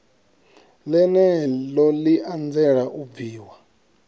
ḽeneḽo ḽi anzela u bviwa